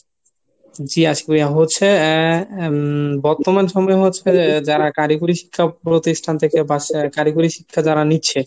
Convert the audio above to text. জি আশিক ভাইয়া হচ্ছে আহ উম বর্তমান সময়ে হচ্ছে যে যারা কারিগরি শিক্ষা প্রতিষ্ঠান থেকে বা কারিগরি শিক্ষা যারা নিচ্ছে